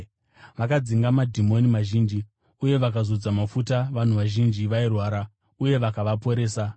Vakadzinga madhimoni mazhinji uye vakazodza mafuta vanhu vazhinji vairwara uye vakavaporesa.